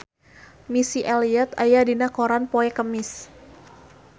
Missy Elliott aya dina koran poe Kemis